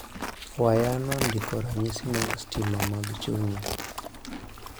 Wayano ndiko ranyisi mag stima mag chunyi.